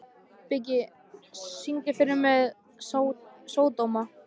Biggi, syngdu fyrir mig „Sódóma“.